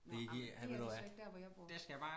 Nå jamen det er de så ikke dér hvor jeg bor